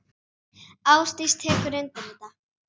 Ásdís tekur undir þetta.